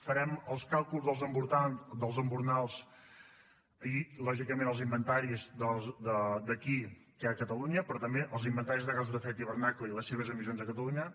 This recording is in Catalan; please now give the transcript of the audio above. farem els càlculs dels embornals i lògicament els inventaris d’aquí a catalunya però també els inventaris de gasos d’efecte hivernacle i les seves emissions a catalunya